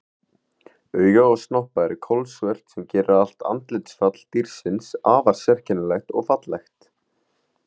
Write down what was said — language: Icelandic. Augu og snoppa eru kolsvört sem gerir allt andlitsfall dýrsins afar sérkennilegt og fallegt.